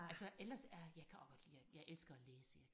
Altså ellers er jeg kan også godt lide at jeg elsker at læse jeg